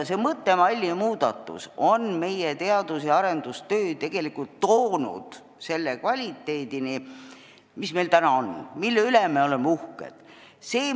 See mõttemalli muudatus on meie teadus- ja arendustöö tegelikult toonud selle kvaliteedini, mis meil täna on ja mille üle me oleme uhked.